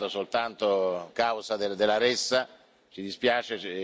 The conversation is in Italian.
Se è stato soltanto causa della ressa, ci dispiace.